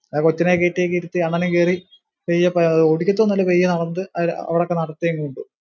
ആ കൊച്ചിനെ കയറ്റി ഒക്കെ ഇരുത്തി അണ്ണനും കേറി പെയ്യേ പോയ മതി ഓടിക്കത്തുവൊന്നുവില്ല പൈയ്യേ അവിടൊക്കെ നടത്തുവെ ഉള്ളു.